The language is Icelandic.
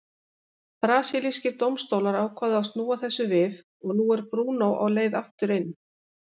Brasilískir dómstólar ákváðu að snúa þessu við og nú er Bruno á leið aftur inn.